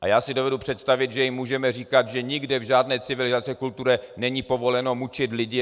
A já si dovedu představit, že jim můžeme říkat, že nikde v žádné civilizované kultuře není povoleno mučit lidi.